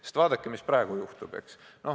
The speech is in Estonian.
Sest vaadake, mis praegu juhtub.